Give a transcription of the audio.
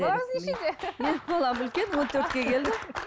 балаңыз нешеде менің балам үлкен он төртке келді